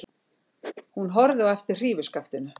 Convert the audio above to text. Hún horfði á eftir hrífuskaftinu.